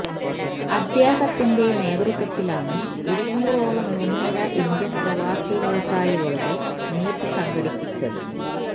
അദ്ദേഹത്തിന്റെ നേതൃത്വത്തിലാണ് ഇരുന്നൂറോളം മുൻനിര ഇന്ത്യൻ പ്രവാസി വ്യവസായികളുടെ മീറ്റ് സംഘടിപ്പിച്ചത്